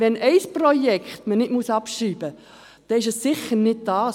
Wenn ein Projekt nicht abgeschrieben werden muss, dann ist es sicher nicht dieses.